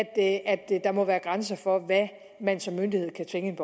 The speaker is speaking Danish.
at der må være grænser for hvad man som myndighed kan tvinge